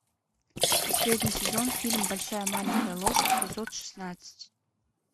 последний сезон фильм большая маленькая ложь эпизод шестнадцать